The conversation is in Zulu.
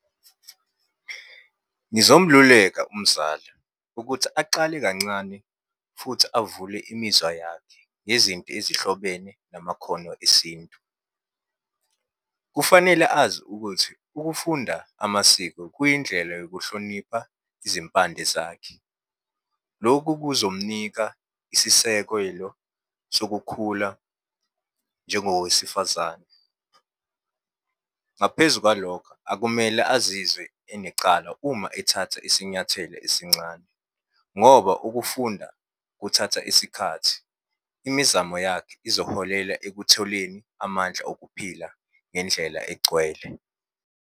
Ngizomluleka umzala ukuthi aqale kancane futhi avule imizwa yakhe ngezinto ezihlobene namakhono esintu. Kufanele azi ukuthi ukufunda amasiko kuyindlela yokuhlonipha izimpande zakhe. Loku kuzomnika isisekelo sokukhula njengowesifazane. Ngaphezu kwalokho akumele azizwe enecala uma ethatha isinyathelo esincane, ngoba ukufunda kuthatha isikhathi. Imizamo yakhe izoholela ekutholeni amandla okuphila ngendlela egcwele.